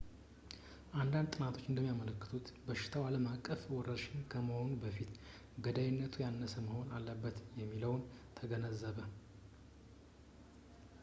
አንዳንድ ጥናቶች እንደሚያመለክቱት በሽታው ዓለም አቀፍ ወረርሽኝ ከመሆኑ በፊት ገዳይነቱ ያነሰ መሆን አለበት የሚለውን ተገነዘበ